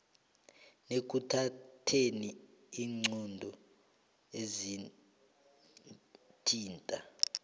nekuthatheni iinqunto ezithinta